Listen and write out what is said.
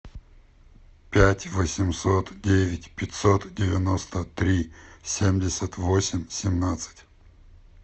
пять восемьсот девять пятьсот девяносто три семьдесят восемь семнадцать